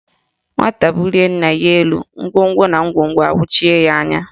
Nwata bulie nna ya elu, ngwongwo na ngwongwo awachie ya anya